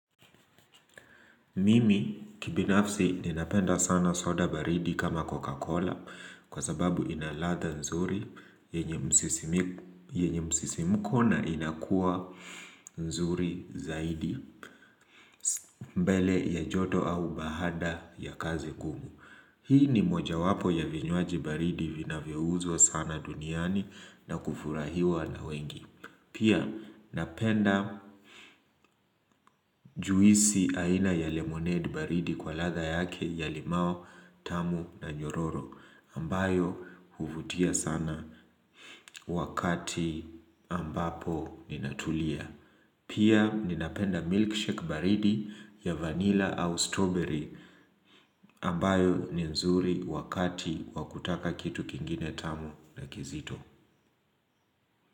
Mimi kibinafsi ninapenda sana soda baridi kama Coca-Cola kwa sababu ina ladha nzuri yenye msisimko na inakuwa nzuri zaidi mbele ya joto au baada ya kazi ngumu. Hii ni mojawapo ya vinywaji baridi vinavyouzwa sana duniani na kufurahiwa na wengi. Pia napenda juisi aina ya lemonade baridi kwa ladha yake ya limousine tamu na nyororo ambayo huvutia sana wakati ambapo ninatulia. Pia ninapenda milkshake baridi ya vanilla au strawberry ambayo ni nzuri wakati wa kutaka kitu kingine tamu na kizito.